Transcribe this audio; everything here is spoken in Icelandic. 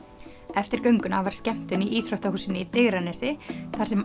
eftir gönguna var skemmtun í íþróttahúsinu í Digranesi þar sem